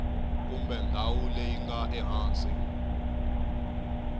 kumbe ndhawu leyi nga ehansi